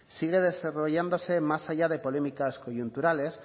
sigue desarrollándose más allá de polémicas coyunturales